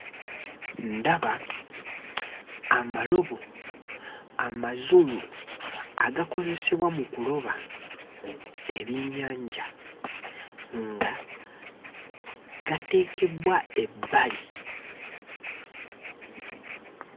Ndaba amalobo amazungu agakozesebwa mu kuloba ebyennyanja nga gateekebbwa ebbali.